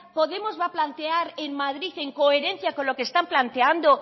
podemos va a plantear en madrid en coherencia con lo que están planteando